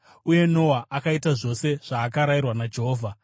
Uye Noa akaita zvose zvaakarayirwa naJehovha.